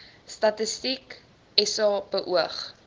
statistiek sa beoog